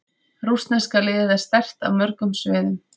Rússneska liðið er sterkt á mörgum sviðum.